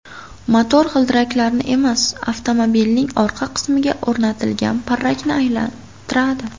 Motor g‘ildiraklarni emas, avtomobilning orqa qismiga o‘rnatilgan parrakni aylantiradi.